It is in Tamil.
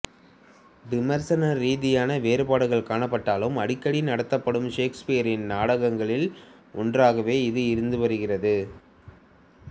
விமர்சன ரீதியான வேறுபாடுகள் காணப்பட்டாலும் அடிக்கடி நடத்தப்படும் ஷேக்ஸ்பியரின் நாடகங்களில் ஒன்றாகவே இது இருந்து வருகிறது